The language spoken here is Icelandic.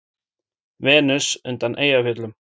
Venus undan Eyjafjöllum.